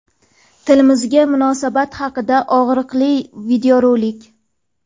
Tilimizga munosabat haqida og‘riqli videorolik.